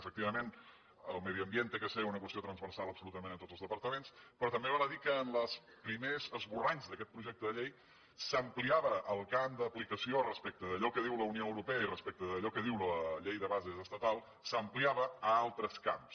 efectivament el medi ambient ha de ser una qüestió transversal absolutament de tots els departaments però també val a dir que en els primers esborranys d’aquest projecte de llei s’ampliava el camp d’aplicació respecte d’allò que diu la unió europea i respecte d’allò que diu la llei de bases estatal s’ampliava a altres camps